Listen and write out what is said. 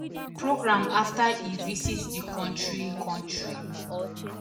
programme afta e visit di kontri kontri